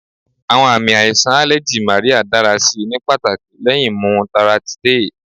Awọn aami aiṣan aleji Marya dara si ni pataki lẹhin mu Loratiday